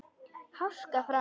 Háska frá.